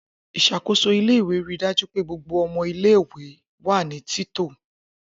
Isakoso ile-iwe rii daju pe gbogbo ọmọ ile-iwe wa ni tito.